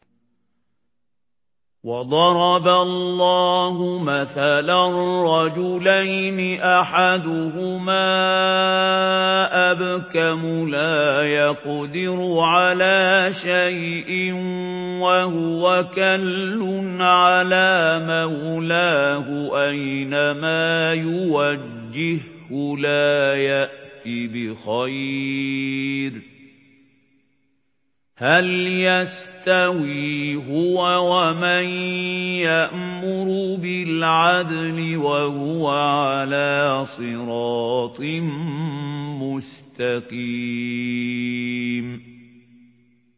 وَضَرَبَ اللَّهُ مَثَلًا رَّجُلَيْنِ أَحَدُهُمَا أَبْكَمُ لَا يَقْدِرُ عَلَىٰ شَيْءٍ وَهُوَ كَلٌّ عَلَىٰ مَوْلَاهُ أَيْنَمَا يُوَجِّههُّ لَا يَأْتِ بِخَيْرٍ ۖ هَلْ يَسْتَوِي هُوَ وَمَن يَأْمُرُ بِالْعَدْلِ ۙ وَهُوَ عَلَىٰ صِرَاطٍ مُّسْتَقِيمٍ